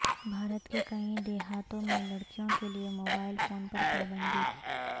بھارت کے کئی دیہاتوں میں لڑکیوں کے لیے موبائل فون پر پابندی